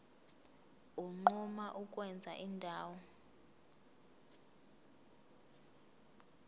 unquma ukwenza indawo